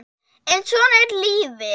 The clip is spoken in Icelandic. en svona er lífið.